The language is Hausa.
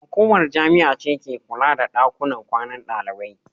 Hukumar jami'a ce ke kula da daƙunan ƙwanan daliɓai.